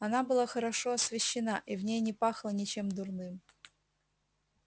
она была хорошо освещена и в ней не пахло ничем дурным